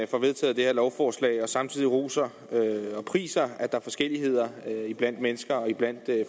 får vedtaget det her lovforslag og samtidig roser og priser at der er forskelligheder blandt mennesker og blandt